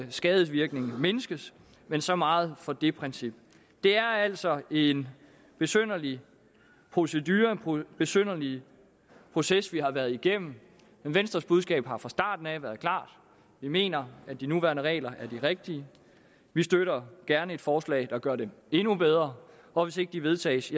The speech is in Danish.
skadevirkningen mindskes men så meget for det princip det er altså en besynderlig proces besynderlig proces vi har været igennem men venstres budskab har fra starten af været klart vi mener at de nuværende regler er de rigtige vi støtter gerne forslag der gør dem endnu bedre og hvis ikke de vedtages